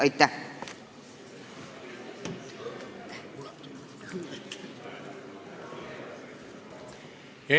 Aitäh!